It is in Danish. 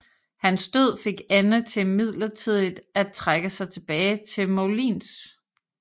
Hans død fik Anne til midlertidigt at trække sig tilbage til Moulins